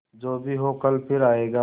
जो भी हो कल फिर आएगा